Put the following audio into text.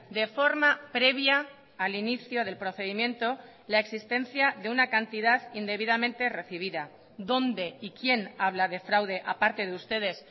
de forma previa al inicio del procedimiento la existencia de una cantidad indebidamente recibida dónde y quién habla de fraude aparte de ustedes